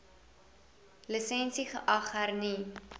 lisensie geag hernu